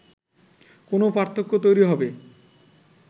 কোনো পার্থক্য তৈরি হবে